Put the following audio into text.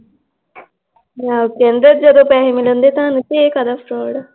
ਕਹਿੰਦਾ ਜਦੋ ਪੈਸੇ ਮਿਲਣਗੇ ਤੁਹਾਨੂੰ ਤਾਂ ਇਹ ਕਾਹਦਾ ਫਰੋਡ ਆ l